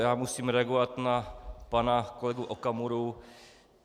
Já musím reagovat na pana kolegu Okamuru.